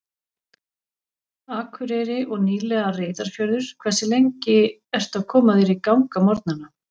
Akureyri og nýlega Reyðarfjörður Hversu lengi ertu að koma þér í gang á morgnanna?